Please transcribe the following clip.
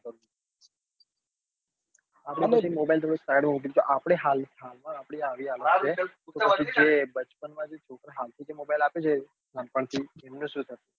તમે mobile side મા મૂકી દીધો આપડે હાલ માં આપડી આવી હાલત છે તો પછી જે બચપન માં જે છોકરા હાલ થી જે mobile આપી દે નાનપણ થી એમનું શું થશે.